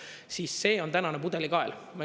Siis see on tänane pudelikael.